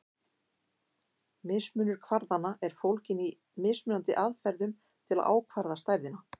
Mismunur kvarðanna er fólginn í mismunandi aðferðum til að ákvarða stærðina.